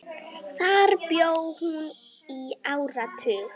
Þar bjó hún í áratug.